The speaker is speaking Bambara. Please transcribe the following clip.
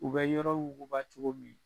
U bɛ yɔrɔ wuguba cogo min